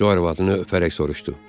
Co arvadını öpərək soruşdu.